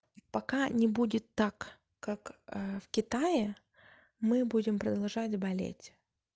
пока не будет так как в китае мы будем продолжать болеть